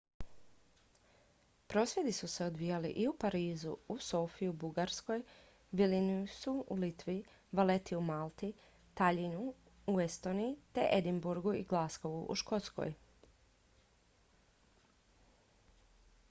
prosvjedi su se odvijali i u parizu u sofiji u bugarskoj vilniusu u litvi valletti u malti tallinnu u estoniji te edinburghu i glasgowu u škotskoj